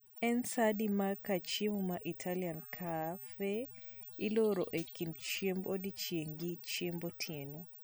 en saa adi ma kar Chiemo mar Italian caf? iloro e kind chiemb odiechieng gi chiembo otieno